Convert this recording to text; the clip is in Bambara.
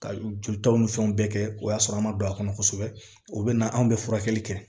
Ka jolitaw ni fɛnw bɛɛ kɛ o y'a sɔrɔ an ma don a kɔnɔ kosɛbɛ o bɛ na anw bɛ furakɛli kɛ